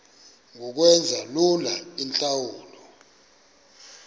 ngokwenza lula iintlawulo